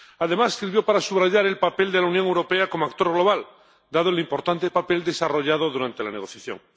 Además, sirvió para subrayar el papel de la Unión Europea como actor global, dado el importante papel desarrollado durante la negociación.